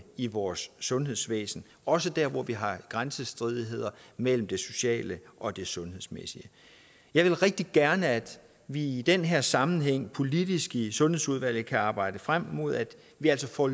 i vores sundhedsvæsen også der hvor vi har grænsestridigheder mellem det sociale og det sundhedsmæssige jeg vil rigtig gerne at vi i den her sammenhæng politisk i sundhedsudvalget kan arbejde frem mod at vi altså får